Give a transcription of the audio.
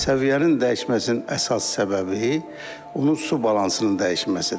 Səviyyənin dəyişməsinin əsas səbəbi onun su balansının dəyişməsidir.